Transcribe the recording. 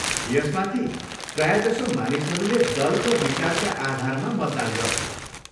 यसमाथि, प्रायजसो मानिसहरूले दल र विचारका आधारमा मतदान गर्छन्।